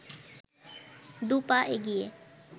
দু’পা এগিয়ে